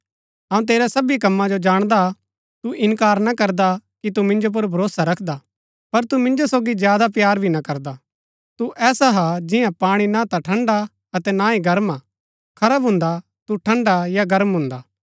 अऊँ तेरै सबी कम्मा जो जाणदा हा तु इनकार ना करदा कि तू मिन्जो पुर भरोसा रखदा पर तु मिन्जो सोगी ज्यादा प्‍यार भी ना करदा तू ऐसा हा जियां पाणी ना ता ठंड़ा अतै ना ही गर्म हा खरा भून्दा तू ठंड़ा या गर्म भून्दा